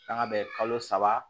Kanga bɛ kalo saba